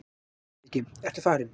LANDSHÖFÐINGI: Ertu farinn?